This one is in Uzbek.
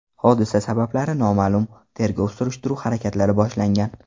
Hodisa sabablari noma’lum, tergov-surishtiruv harakatlari boshlangan.